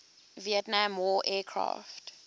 vietnam war aircraft